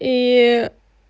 ии